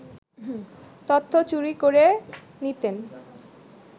তথ্য চুরি করে নিতেন